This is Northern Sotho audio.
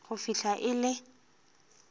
go fihla ge e le